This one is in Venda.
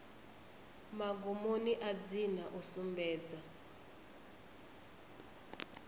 magumoni a dzina u sumbedza